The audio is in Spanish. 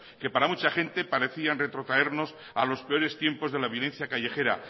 que para mucha gente parecían retrotraernos a los peores tiempos de la violencia callejera